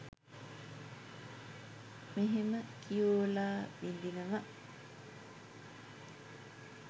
මෙහෙම කියෝලා විඳිනව